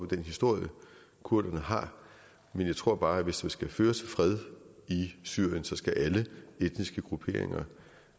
den historie kurderne har men jeg tror bare at hvis det skal føre til fred i syrien skal alle etniske grupperinger